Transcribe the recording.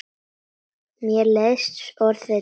Mér leiðist orðið trend.